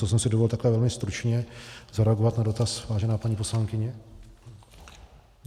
To jsem si dovolil takhle velmi stručně zareagovat na dotaz, vážená paní poslankyně.